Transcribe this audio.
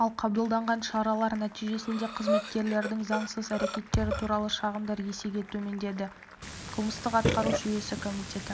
ал қабылданған шаралар нәтижесінде қызметкерлердің заңсыз әрекеттері туралы шағымдар есеге төмендеді деді қылмыстық-атқару жүйесі комитеті